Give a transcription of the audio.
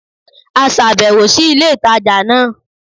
A sàbèwò sí ilé ìtajà náà